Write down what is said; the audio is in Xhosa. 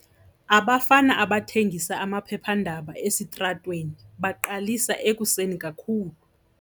Abafana abathengisa amaphephandaba esitratweni baqalisa ekuseni kakhulu.